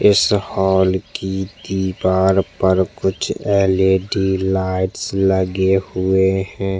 इस हॉल की दिवार पर कुछ एलईडी लाइटस लगे हुए है।